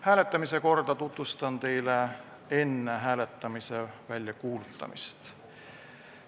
Hääletamise korda tutvustan teile enne hääletamise väljakuulutamist.